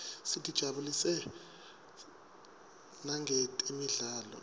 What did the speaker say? sitijabulisa nangetemidlalo